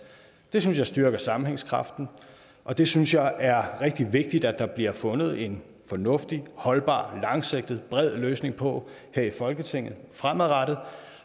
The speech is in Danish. det synes jeg styrker sammenhængskraften og det synes jeg er rigtig vigtigt der bliver fundet en fornuftig holdbar langsigtet bred løsning på her i folketinget fremadrettet